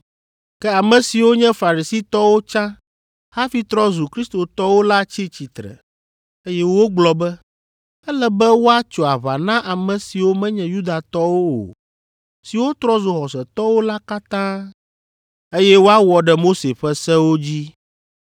Ke ame siwo nye Farisitɔwo tsã hafi trɔ zu Kristotɔwo la tsi tsitre, eye wogblɔ be, “Ele be woatso aʋa na ame siwo menye Yudatɔwo o, siwo trɔ zu xɔsetɔwo la katã, eye woawɔ ɖe Mose ƒe sewo dzi.”